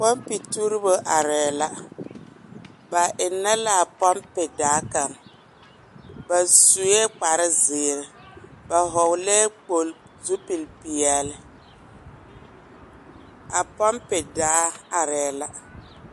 Pɔmpeŋ tuurebo arɛɛ la, ba ennɛ l’a pɔmpedaa kaŋ. Ba sue kparzeere, ba hɔɔlɛɛ kpol zupilpeɛle. A pɔmpedaa arɛɛ la.